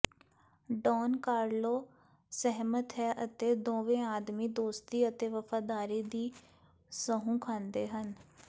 Don Carlo ਸਹਿਮਤ ਹੈ ਅਤੇ ਦੋਵੇਂ ਆਦਮੀ ਦੋਸਤੀ ਅਤੇ ਵਫ਼ਾਦਾਰੀ ਦੀ ਸਹੁੰ ਖਾਂਦੇ ਹਨ